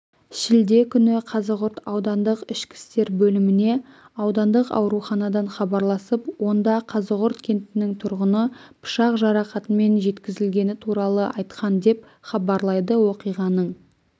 шілде күні қазығұрт аудандық ішкі істер бөліміне аудандық ауруханадан хабарласып онда қазығұрт кентінің тұрғыны пышақ жарақатымен жеткізілгені туралы айтқан деп хабарлайды оқиғаның